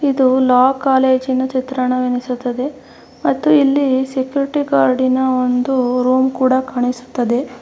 ಇದು ಲಾ ಕಾಲೇಜಿನ ಚಿತ್ರಣವೆನಿಸುತ್ತದೆ ಮತ್ತು ಇಲ್ಲಿ ಸೆಕ್ಯೂರಿಟಿ ಗೌರ್ಡಿನ ಒಂದು ರೂಮ್ ಕೂಡ ಕಾಣಿಸುತ್ತದೆ.